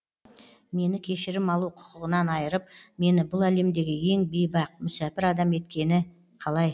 мені кешірім алу құқығынан айырып мені бұл әлемдегі ең бейбақ мүсәпір адам еткені қалай